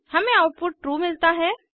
हमें output true मिलता है